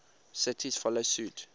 cities follow suit